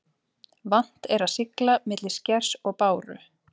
Vant er að sigla milli skers og báru.